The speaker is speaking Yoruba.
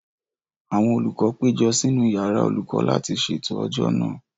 Àwọn olùkọ́ péjọ sínú yàrá olùkọ́ láti ṣètò ọjọ́ náà